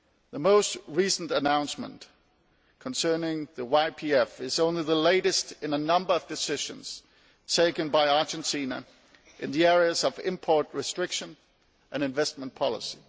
The most recent announcement concerning YPF is only the latest in a number of decisions taken by Argentina in the areas of import restriction and investment policy.